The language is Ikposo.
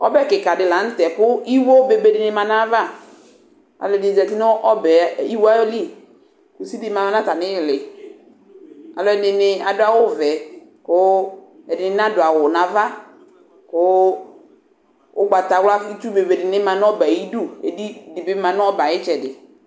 Ɔbɛkɩkadɩ lanʊtɛ kʊ ɩwo bebenɩ ma nʊ ayʊ ava alʊ ɛdɩnɩ zanʊ ɩwo yɛlɩ kʊ ʊsɩdɩ ma nʊ atamɩɩlɩ kʊ alʊɛdɩ adʊ awʊvɛ kʊ ɛdɩnɩ nadʊ awʊ nʊ ava kʊ ʊgbatawla nʊ ɩtsʊ bebe manʊ ɔbɛyɛ ayʊ ɩdʊ ɩdɩ dɩbɩ manʊ ɔbɛyɛ ɩyɩdʊ